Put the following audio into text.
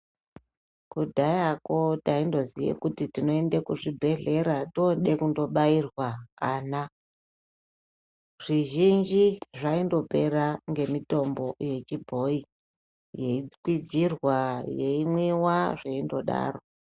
Kudhayako taindoziye kuti tinoende kuzvibhehlera toode kundobairwa ana. Zvizhinji zvaindopera ngemitombo yechibhoyi, yeikwizirwa, yeimwiwa, zveindodaro.